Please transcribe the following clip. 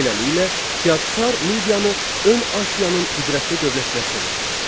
Beləliklə, Kiaksar Midiyanı ön Asiyanın qüdrətli dövlətinə çevirdi.